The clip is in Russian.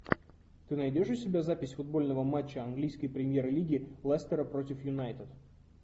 ты найдешь у себя запись футбольного матча английской премьер лиги лестера против юнайтед